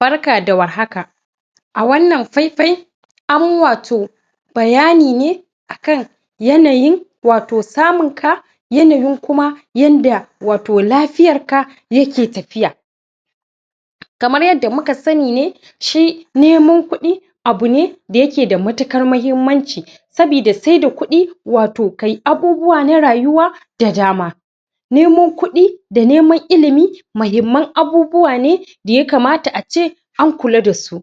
Barka da warhaka! a wannan faifai an wato bayani ne akan yanayin wato samun ka yanayin kuma yanda wato lafiyarka yake tafiya kamar yanda muka sanni ne shi neman kuɗi abune da yake da matukar mahimmanci sabida sai da kuɗi wato kayi abubuwa na rayuwa da dama neman kuɗi da neman ilimi mahimman abubuwa ne da ya kamata ace an kula dasu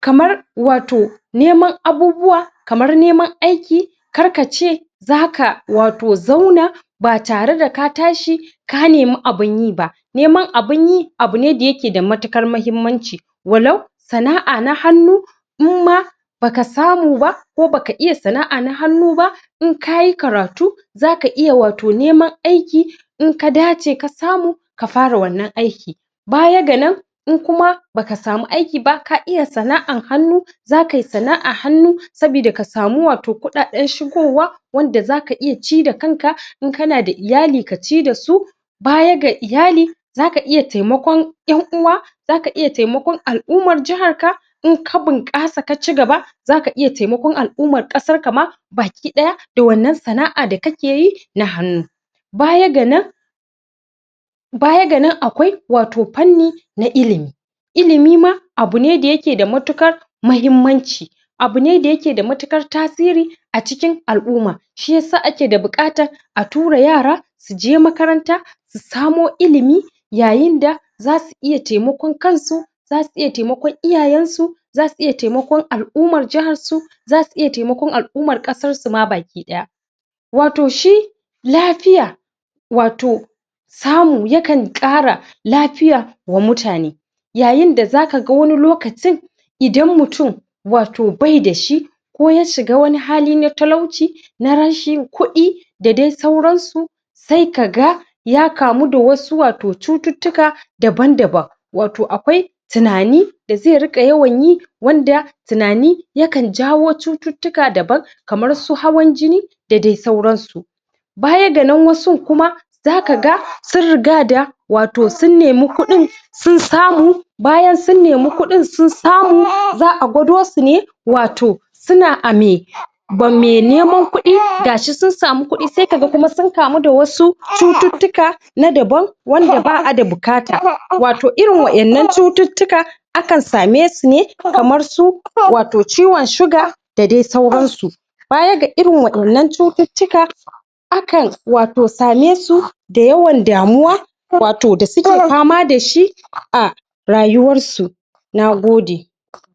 kamar wato neman abubuwa kamar neman aiki kar kace zaka wato zauna ba tare da ka tashi ka nemu abun yi ba neman abun yi abune da yake da matukar mahimmanci walau sana'a na hannu imma baka samu ba ko baka iya sana'a na hannu ba in kayi karatu zaka iya wato neman aiki in ka dace ka samu ka fara wannan aiki baya ga nan in kuma baka samu aiki, ka iya sana'an hannu za kai sana'a hannu sabida ka samu wato kuɗaɗen shigowa wanda zaka iya ci da kan ka in kana da iyali kaci dasu baya ga iyali zaka iya taimakon ƴan uwa zaka iya taimakon al'ummar jahar ka in ka bunƙasa ka cigaba zaka iya taimakon al'ummar kasar ka ma baki ɗaya da wannan sana'a da kake yi na hannu baya ga nan baya ga nan akwai wato fanni na ilimi ilimi ma abune da yake da matukar mahimmanci abune da yake matuƙar tasiri acikin al'umma shiyasa ake da buƙatan a tura yara su je makaranta su samo ilimi yayin da zasu iya taimakon kansu zasu iya taimakon iyayensu zasu iya taimakon al'umar jaharsu zasu iya taimakon al'umar ƙasar su ma baki ɗaya wato shi lafiya wato samu ya kan ƙara lafiya wa mutane yayin da zaka ga wani lokacin idan mutum wato baida shi ko ya shiga wani hali na talauci na rashin kuɗi da dai sauran su sai kaga ya kamu da wasu wato cututtuka daban-daban wato akwai tunani da zai riƙa yawan yi wanda tinani yakan jawo cututtuka daban kamar su hawan jini da dai sauran su baya ga nan wasun kuma zaka ga sun riga da wato sun nemi kuɗin sun samu bayan sun nemi kuɗin sun samu za'a gwado su ne wato suna a mai ba mai neman kuɗi gashi sun samu kuɗi sai ka ga kuma sun kamu da wasu cututtuka na daban wanda ba'a da buƙata wato, irin wa'innan cututtuka akan samesu ne kamar su wato ciwon shuga da dai sauran su baya ga irin waɗannan cututtuka akan wato same su da yawan damuwa wato da suke fama dashi a rayuwarsu Nagode!